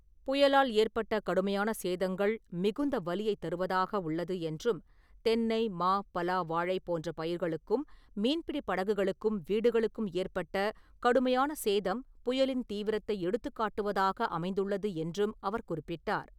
புயலால் ஏற்பட்ட கடுமையான சேதங்கள் மிகுந்த வலியைத் தருவதாக உள்ளது என்றும், தென்னை, மா, பலா, வாழை போன்ற பயிர்களுக்கும், மீன்பிடி படகுகளுக்கும், வீடுகளுக்கும் ஏற்பட்ட கடுமையான சேதம் புயலின் தீவிரத்தை எடுத்துக்காட்டுவதாக அமைந்துள்ளது என்றும் அவர் குறிப்பிட்டார்.